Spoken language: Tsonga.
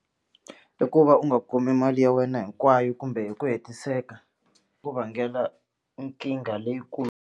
I ku va u nga kumi mali ya wena hinkwayo kumbe hi ku hetiseka ku vangela nkingha .